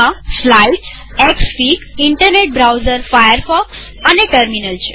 તેમાં સ્લ્યાઈદ્સએક્સફીગઇનટરનેટ browser Firefox અને ટેર્મીનલ છે